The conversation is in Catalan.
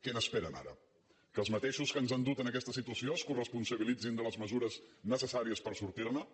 què n’esperen ara que els mateixos que ens han dut a aquesta situació es coresponsabilitzin de les mesures necessàries per sortir ne